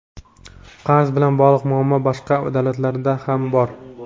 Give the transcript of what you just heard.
Qarz bilan bog‘liq muammolar boshqa davlatlarda ham bor.